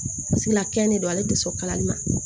Sigila kɛn de don ale tɛ sɔn kalali ma